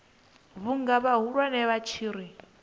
vhunga vhahulwane vha tshi ri